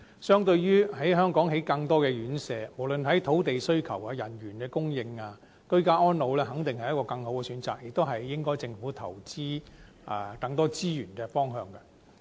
相對於在香港興建更多院舍，不論是在土地需求或人員的供應方面，居家安老肯定是更好的選擇，亦應該是政府投資更多資源的方向。